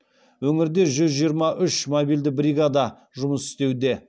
өңірде жүз жиырма үш мобильді бригада жұмыс істеуде